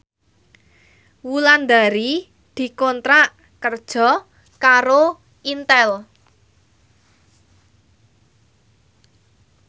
Wulandari dikontrak kerja karo Intel